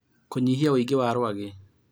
Kũnyihia wũingĩ wa rwagĩ